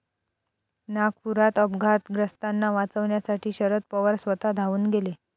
नागपुरात अपघातग्रस्तांना वाचवण्यासाठी शरद पवार स्वतः धावून गेले